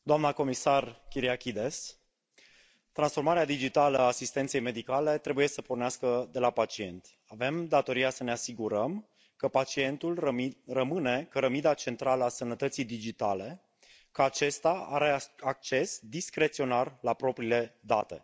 Doamnă președintă, doamnă comisară Kyriakides, transformarea digitală a asistenței medicale trebuie să pornească de la pacient. Avem datoria să ne asigurăm că pacientul rămâne cărămida centrală a sănătății digitale, că acesta are acces discreționar la propriile date.